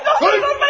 Yapmayın!